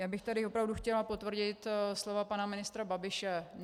Já bych tady opravdu chtěla potvrdit slova pana ministra Babiše.